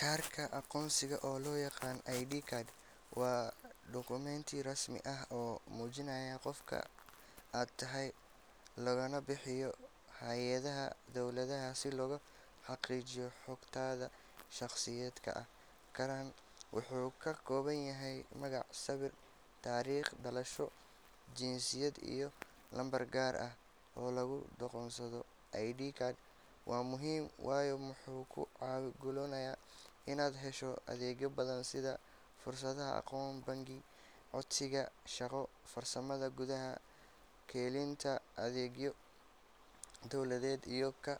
Kaarka aqoonsiga oo loo yaqaan ID card waa dukumenti rasmi ah oo muujinaya qofka aad tahay, lagana bixiyo hay’adaha dowladda si loo xaqiijiyo xogtaada shaqsiyadeed. Kaarkani wuxuu ka kooban yahay magac, sawir, taariikh dhalasho, jinsiyad, iyo lambar gaar ah oo lagu aqoonsado. ID card waa muhiim waayo wuxuu kuu ogolaanayaa inaad hesho adeegyo badan sida furashada akoon bangi, codsiga shaqo, safarka gudaha, helitaanka adeegyo dawladeed iyo ka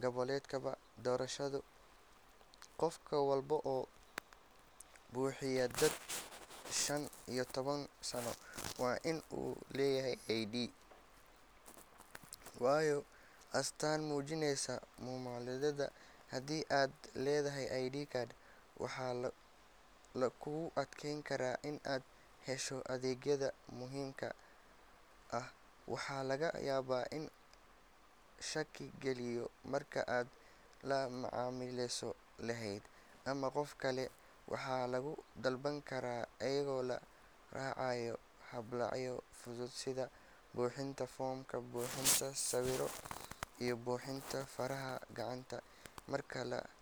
qeybgalka doorasho. Qof walba oo buuxiya da’da shan iyo toban sano waa in uu leeyahay ID card, waayo waa astaan muujinaysa muwaadinimadaada. Haddii aadan lahayn ID card, waxaa kugu adkaan kara in aad hesho adeegyada muhiimka ah, waxaana laga yaabaa in lagaa shaki geliyo marka aad la macaamileyso hay’ad ama qof kale. Waxaa lagu dalban karaa iyadoo la raacayo habraacyo fudud sida buuxinta foom, bixinta sawir, iyo bixinta faraha gacanta. Marka la.